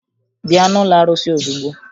Bịa n'ụlọ arụsị ozugbo!